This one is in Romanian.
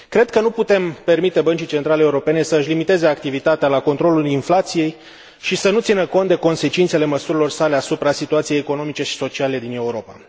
Cred că nu putem permite Băncii Centrale Europene să își limiteze activitatea la controlul inflației și să nu țină cont de consecințele măsurilor sale asupra situației economice și sociale din Europa.